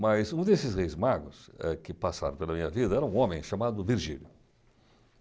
Mas um desses reis magos eh que passaram pela minha vida era um homem chamado Virgílio.